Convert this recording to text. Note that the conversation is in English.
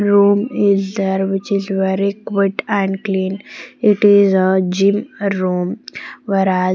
Room is there which is very quit and clean it is a gym room whereas--